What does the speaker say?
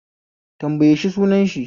Tanbaye shi sunan shi